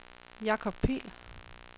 Jacob Pihl